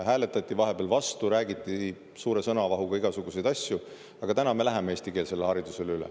Hääletati vahepeal vastu, räägiti suure sõnavahuga igasuguseid asju, aga nüüd me läheme eestikeelsele haridusele üle.